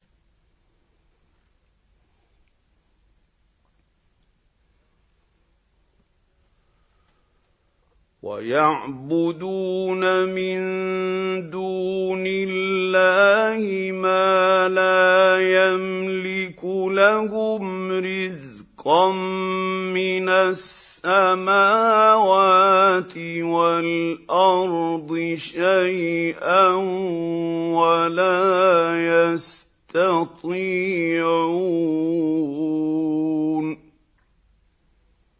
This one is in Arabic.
وَيَعْبُدُونَ مِن دُونِ اللَّهِ مَا لَا يَمْلِكُ لَهُمْ رِزْقًا مِّنَ السَّمَاوَاتِ وَالْأَرْضِ شَيْئًا وَلَا يَسْتَطِيعُونَ